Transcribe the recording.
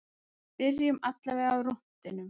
Byrjum allavega á rúntinum.